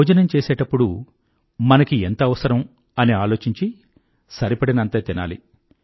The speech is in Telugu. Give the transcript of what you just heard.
భోజనం చేసేప్పుడు మనకి ఎంత అవసరం అని ఆలోచించి సరిపడినంతే తినాలి